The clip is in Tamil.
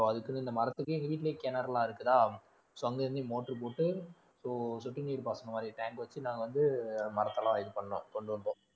so அதுக்குன்னு இந்த மரத்துக்கே எங்க வீட்டுலயும் கிணறெல்லாம் இருக்குதா so அங்கிருந்தே motor போட்டு so சொட்டு நீர் பாசனம் மாதிரி tank வச்சு நாங்க வந்து மரத்த எல்லாம் இது பண்ணோம் கொண்டு வந்தோம்